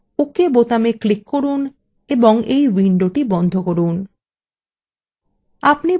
এবার ok বোতামে click করুন এবং এই window বন্ধ করুন